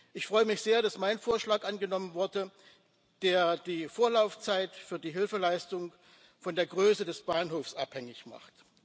Ich freue mich sehr, dass mein Vorschlag angenommen wurde, der die Vorlaufzeit für die Hilfeleistung von der Größe des Bahnhofs abhängig macht.